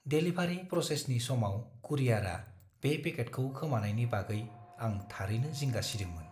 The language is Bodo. डेलिभारि प्रसेसनि समाव कुरियारआ बे पेकेटखौ खोमानायनि बागै आं थारैनो जिंगा सिदोंमोन।